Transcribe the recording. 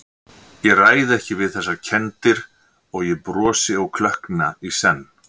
Ég ræð ekki við þessar kenndir- og ég brosi og klökkna í senn.